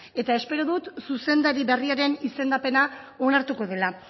eta espero dut zuzendari berriaren izendapena onartuko dela